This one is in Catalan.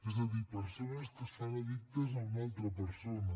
és a dir persones que es fan addictes a una altra persona